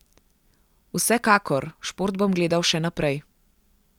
Vsekakor, šport bom gledal še naprej.